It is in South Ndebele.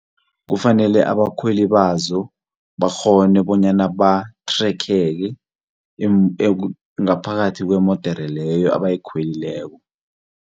Kufanele abakhweli bazo bakghone bonyana bathrekheke ngaphakathi kwemodere leyo abayikhwelileko.